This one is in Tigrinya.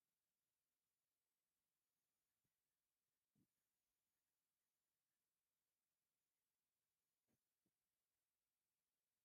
ናውቲ ቤተክርስትያንን ተደራሪቦም ኣለዉ። ክቡር ሃይማኖታዊ ስነ-ስርዓት ይካየድ ከምዘሎ ንጹር እዩ።